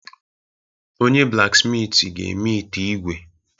Onye-blaksmitị ga-eme ite ígwè.